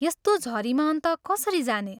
यस्तो झरीमा अन्त कसरी जाने?